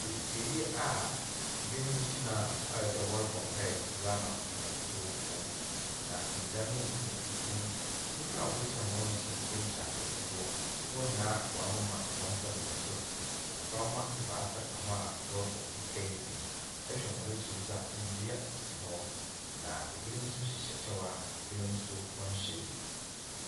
Asiei a binom gyinae ayɛ dɛ wɔrebɔ mpae dza ama hɔn awufo. Na nda no yɛ fufuw. Nyimpa a wogyina hɔ no nso binom hyɛ atar fufuw. Hɔn nyinaa wɔamema hɔn nsa do wɔ sor. Mboframma ebaasa ka ho a, wɔrebɔ mpae no bi. Ihwɛ hɔn akyir nso a, ndua si hɔ. Na ebinom nso hyehyɛ kyɛw a ebinom nso nhyɛ bi.